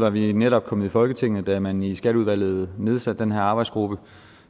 var vi netop kommet i folketinget da man i skatteudvalget nedsatte den her arbejdsgruppe